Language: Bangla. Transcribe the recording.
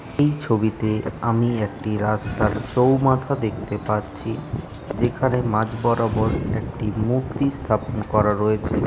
এই ছবিতে আমি একটি রাস্তার চৌমাথা দেখতে পাচ্ছি। যেখানে মাঝ বরাবর একটি মুর্তি স্থাপন করা রয়েছে।